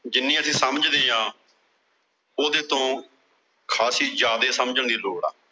ਜਿੰਨੀ ਅਸੀਂ ਸਮਝਦੇ ਆਂ ਉਹਦੇ ਤੋਂ ਖਾਸੀ ਜ਼ਿਆਦੇ ਸਮਝਣ ਦੀ ਲੋੜ ਆ।